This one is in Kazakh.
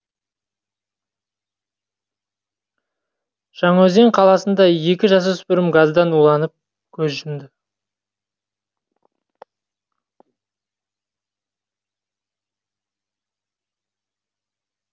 жаңаөзен қаласында екі жасөспірім газдан уланып көз жұмды